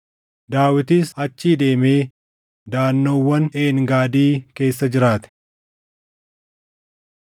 Daawitis achii deemee daʼannoowwan Een Gaadii keessa jiraate.